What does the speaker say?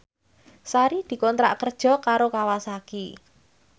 Sari dikontrak kerja karo Kawasaki